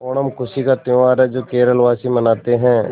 ओणम खुशी का त्यौहार है जो केरल वासी मनाते हैं